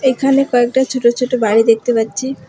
এখানে কয়েকটা ছোট ছোট বাড়ি দেখতে পাচ্ছি।